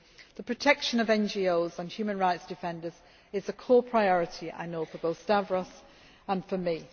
The protection of NGOs and human rights defenders is a core priority for both Stavros and for me.